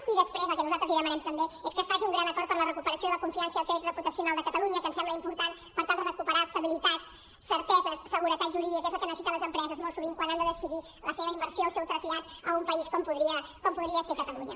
i després el que nosaltres li demanem també és que faci un gran acord per a la recuperació de la confiança i el crèdit reputacional de catalunya que ens sembla important per tal de recuperar estabilitat certeses seguretat jurídica que és el que necessiten les empreses molt sovint quan han de decidir la seva inversió el seu trasllat a un país com podria ser catalunya